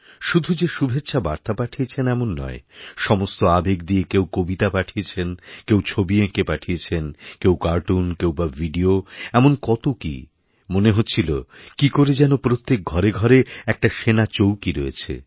শুধু যে শুভেচ্ছাবার্তাপাঠিয়েছেন এমন নয় সমস্ত আবেগ দিয়ে কেউ কবিতা পাঠিয়েছেন কেউ ছবি এঁকে পাঠিয়েছেনকেউ কার্টুন কেউ বা ভিডিও এমন কতো কী মনে হচ্ছিল কী করে যেন প্রত্যেক ঘরেঘরে একটা সেনা চৌকি রয়েছে